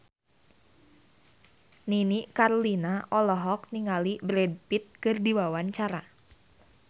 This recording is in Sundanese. Nini Carlina olohok ningali Brad Pitt keur diwawancara